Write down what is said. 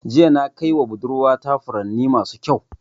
Jiya na kaiwa budurwa ta furanni masu ƙyau.